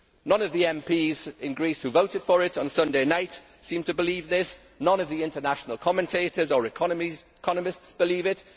None of the MPs in Greece who voted for it on Sunday night seem to believe this, none of the international commentators or economists believe it